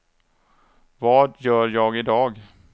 vad gör jag idag